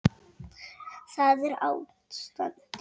Svo er byrjað.